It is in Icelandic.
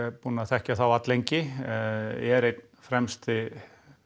er búinn að þekkja þá alllengi eru einn fremsti